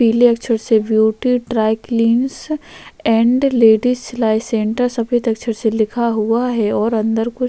पीले अक्षरों से ब्यूटी डारैक्लिनर्स एंड लेडिस सिलाई सेंटर सफ़ेद अक्षर से लिखा हुआ है और अंदर कुछ--